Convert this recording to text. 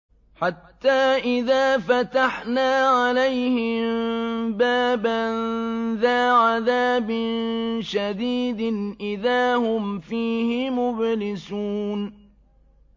حَتَّىٰ إِذَا فَتَحْنَا عَلَيْهِم بَابًا ذَا عَذَابٍ شَدِيدٍ إِذَا هُمْ فِيهِ مُبْلِسُونَ